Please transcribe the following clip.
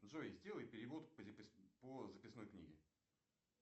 джой сделай перевод по записной книге